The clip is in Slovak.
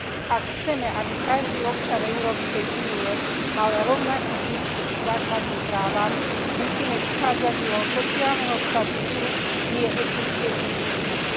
Ak chceme, aby každý občan Európskej únie mal rovnaký prístup k základným právam, musíme vychádzať z jeho sociálneho statusu, nie etnickej príslušnosti.